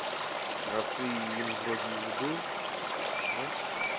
а ты им вроде и не был не